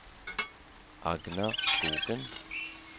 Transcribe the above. Agnar Skogen